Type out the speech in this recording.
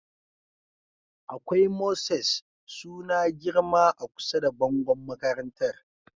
Akwai mosses suna girma a kusa da bangon makarantar